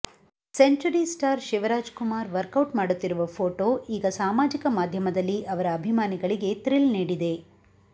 century star Shivaraj Kumar workout ಮಾಡುತ್ತಿರುವ photo ಈಗ ಸಾಮಾಜಿಕ ಮಾಧ್ಯಮದಲ್ಲಿ ಅವರ ಅಭಿಮಾನಿಗಳಿಗೆ ಥ್ರಿಲ್ ನೀಡಿದೆ